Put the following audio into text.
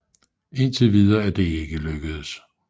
Indtil videre er det ikke lykkedes